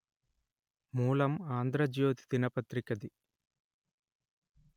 మూలం ఆంధ్రజోతి దినపత్రికది